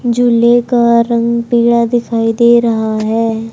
झूले का रंग पीला दिखाई दे रहा है।